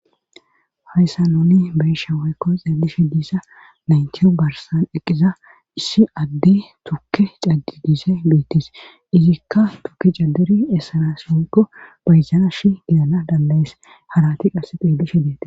hayssa nuni be'isha waykko xeelishe diissa naynti barsan eqqiza issi adde tukke cadidiise biittis izikka tukki cadderi essana somkko bayzana shi gidana dandayees halati qasse piillishe deete